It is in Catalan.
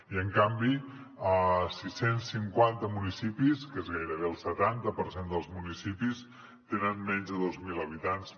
i en canvi sis cents i cinquanta municipis que és gairebé el setanta per cent dels municipis tenen menys de dos mil habitants